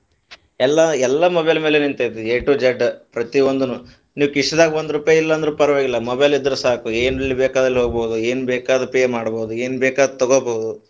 ಎಲ್ಲಾ ಎಲ್ಲ mobile ಮೇಲೆ ನಿಂತೈತಿ a to z , ಪ್ರತಿವೊಂದನು ನೀವ್ ಕಿಶೆದಾಗ ಒಂದ ರೂಪಾಯಿ ಇಲ್ಲಾ ಅಂದ್ರು ಪರವಾಗಿಲ್ಲ mobile ಇದ್ರ ಸಾಕು, ಎಲ್ಲ್ ಬೇಕಾದಲ್ಲಿ ಹೋಗಬಹುದು ಏನ ಬೇಕಾ ಅದು pay ಮಾಡಬಹುದು ಏನ ಬೇಕಾ ಅದು ತಗೋಬಹುದು.